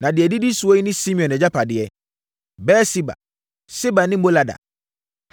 Na deɛ ɛdidi soɔ yi ne Simeon agyapadeɛ: Beer-Seba, Seba ne Molada,